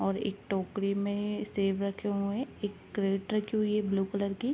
और एक टोकरी में सेब रखे हुए हैं। एक कैरेट रखी हुई है ब्लू कलर की।